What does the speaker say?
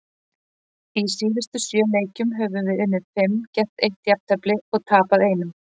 Í síðustu sjö leikjum höfum við unnið fimm, gert eitt jafntefli og tapað einum.